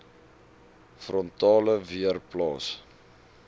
frontale weer plaas